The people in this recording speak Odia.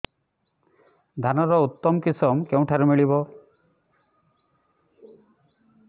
ଧାନର ଉତ୍ତମ କିଶମ କେଉଁଠାରୁ ମିଳିବ